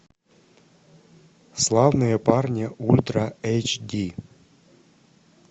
славные парни ультра эйч ди